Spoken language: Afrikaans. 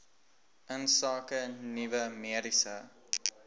insake nuwe mediese